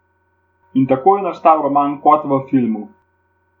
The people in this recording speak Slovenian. In tako je nastal roman Kot v filmu.